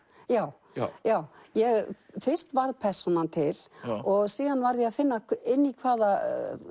já já já fyrst varð persónan til og síðan varð ég að finna inn í hvaða